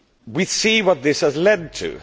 We can see what this has led to.